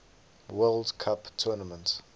world cup tournament